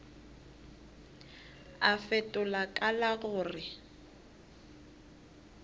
a fetola ka la gore